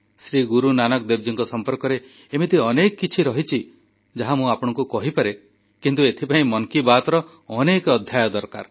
ଶ୍ରୀ ଗୁରୁନାନକ ଦେବଜୀଙ୍କ ସମ୍ପର୍କରେ ଏମିତି ଅନେକ କିଛି କଥା ରହିଛି ଯାହା ମୁଁ ଆପଣଙ୍କୁ କହିପାରେ କିନ୍ତୁ ଏଥିପାଇଁ ମନ୍ କି ବାତ୍ର ଅନେକ ଅଧ୍ୟାୟ ଦରକାର